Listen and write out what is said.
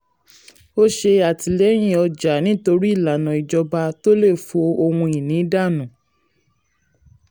ó ṣe àtìlẹyìn ọjà nítorí ìlànà ìjọba tó lè fọ ohun ìní dànù.